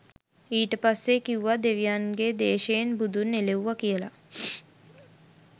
ඊට පස්සෙ කිවුව දෙවියන්ගෙ දේශයෙන් බුදුන් එලෙව්ව කියල